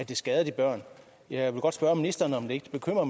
kan skade de børn jeg vil godt spørge ministeren om det ikke bekymrer